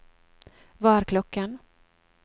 hva er klokken